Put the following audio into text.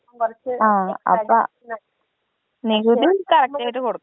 ആ അപ്പൊ നികുതി കറക്റ്റ് ആയിട്ട് കൊടുക്കണം .